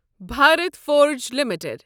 Bharat Forge limited